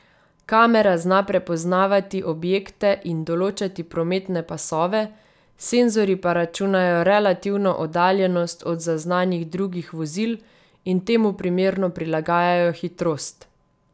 Kamera zna prepoznavati objekte in določati prometne pasove, senzorji pa računajo relativno oddaljenost od zaznanih drugih vozil in temu primerno prilagajajo hitrost.